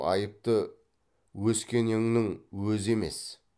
айыпты өскенеңнің өзі емес